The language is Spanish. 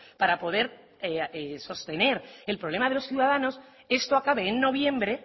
para poder sostener el problema de los ciudadanos esto acabe en noviembre